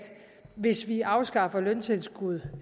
hvis vi afskaffer løntilskud